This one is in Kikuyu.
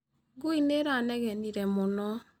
ngui nĩĩranegenĩre mũno.